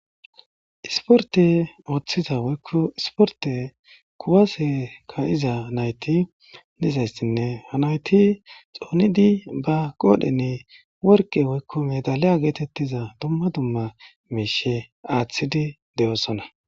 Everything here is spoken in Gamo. Isporte ooththiza woykku isporte kuwase ka iza nayti nizayssinne ha nayti xoonidi ba qoodhenne worqe woykko medaliya geetettiza dumma dumma meeshe aaththidi de7oosona.